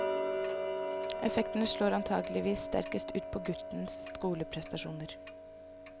Effektene slår antakeligvis sterkest ut på guttens skoleprestasjoner.